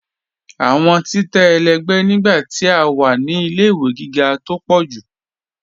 Awọn títẹ̀ ẹlẹgbẹ̀ nígbà tí a wá ní ilẹ̀-ìwé gígá tó pọ̀ jù.